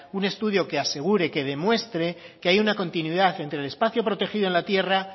un estudio que asegure que demuestre que hay una continuidad entre el espacio protegido en la tierra